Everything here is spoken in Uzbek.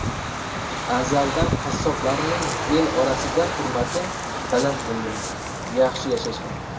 Azaldan qassoblarning el orasida hurmati baland bo‘lgan, yaxshi yashashgan.